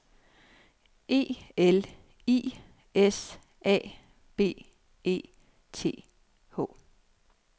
E L I S A B E T H